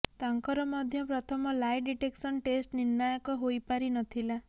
ତାଙ୍କର ମଧ୍ୟ ପ୍ରଥମ ଲାଏ ଡିଟେକ୍ସନ୍ ଟେଷ୍ଟ୍ ନିର୍ଣ୍ଣାୟକ ହୋଇପାରି ନ ଥିଲା